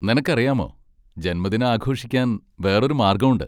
നിനക്കറിയാമോ, ജന്മദിനം ആഘോഷിക്കാൻ വേറൊരു മാർഗ്ഗമുണ്ട്.